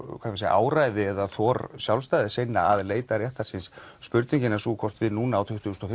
áræði eða þor sjálfstæðissinna að leita réttar síns spurningin er sú hvort við núna á tuttugu og